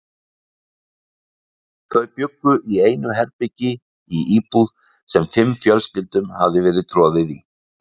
Þau bjuggu í einu herbergi í íbúð, sem fimm fjölskyldum hafði verið troðið í.